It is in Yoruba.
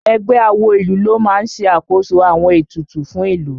Ẹgbẹ́ awo ìlú ló máa ń ṣe àkóso àwọn ètùtù fún ìlú